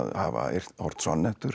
hafa ort